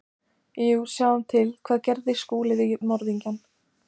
Jú, sjáum til: Hvað gerði Skúli við morðingjann?